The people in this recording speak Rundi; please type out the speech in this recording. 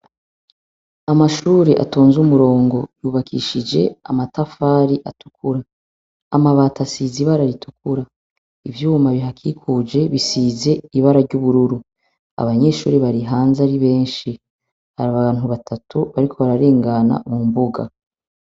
Amashure atonze umurongo yubakishije amatafari atukura amabata asiza ibara ritukura ivyuma bihakikuje bisize ibara ry'ubururu abanyeshuri barihanze ari benshi hari abantu batatu bariko bararengana mu mbuga.